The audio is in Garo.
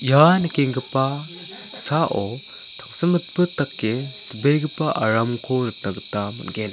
ia nikengipa tangsimbitbit dake silbegipa aramko nikna gita man·gen.